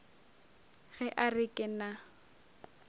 ge a re ke na